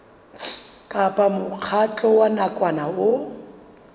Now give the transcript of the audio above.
kapa mokgatlo wa nakwana o